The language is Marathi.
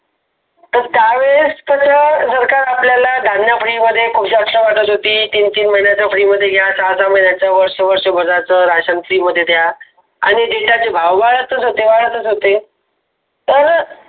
पण त्यावेळेस कसं जर का घातलेला दांडाश्री तीन तीन महिन्याच्या free मध्ये घ्या वर्ष वर्ष बऱ्याच राशन free मध्ये द्या आणि data चे भाव वाढतस होते, वाढतस होते. तर